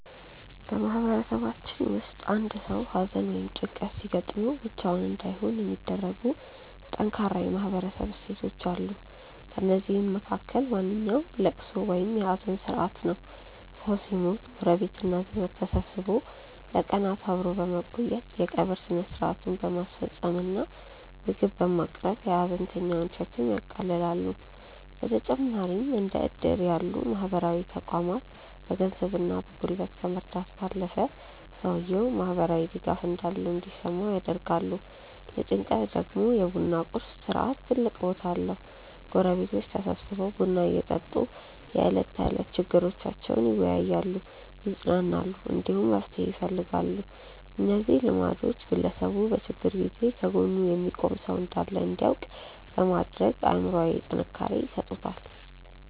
በማህበረሰባችን ውስጥ አንድ ሰው ሐዘን ወይም ጭንቀት ሲገጥመው ብቻውን እንዳይሆን የሚያደርጉ ጠንካራ የማህበረሰብ እሴቶች አሉ። ከእነዚህም መካከል ዋነኛው ልቅሶ ወይም የሐዘን ሥርዓት ነው። ሰው ሲሞት ጎረቤትና ዘመድ ተሰብስቦ ለቀናት አብሮ በመቆየት፣ የቀብር ሥነ ሥርዓቱን በማስፈጸም እና ምግብ በማቅረብ የሐዘንተኛውን ሸክም ያቃልላሉ። በተጨማሪም እንደ ዕድር ያሉ ማህበራዊ ተቋማት በገንዘብና በጉልበት ከመርዳት ባለፈ፣ ሰውየው ማህበራዊ ድጋፍ እንዳለው እንዲሰማው ያደርጋሉ። ለጭንቀት ደግሞ የ ቡና ቁርስ ሥርዓት ትልቅ ቦታ አለው፤ ጎረቤቶች ተሰብስበው ቡና እየጠጡ የዕለት ተዕለት ችግሮቻቸውን ይወያያሉ፣ ይጽናናሉ፣ እንዲሁም መፍትሄ ይፈልጋሉ። እነዚህ ልማዶች ግለሰቡ በችግር ጊዜ ከጎኑ የሚቆም ሰው እንዳለ እንዲያውቅ በማድረግ አእምሮአዊ ጥንካሬ ይሰጡታል።